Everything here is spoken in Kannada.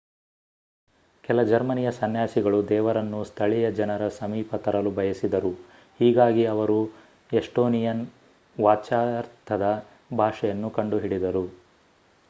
ಕೆಲ ಜರ್ಮನಿಯ ಸನ್ಯಾಸಿಗಳು ದೇವರನ್ನು ಸ್ಥಳೀಯ ಜನರ ಸಮೀಪ ತರಲು ಬಯಸಿದರು ಹೀಗಾಗಿ ಅವರು ಎಸ್ಟೋನಿಯನ್ ವಾಚ್ಯಾರ್ಥದ ಭಾಷೆಯನ್ನು ಕಂಡುಹಿಡಿದರು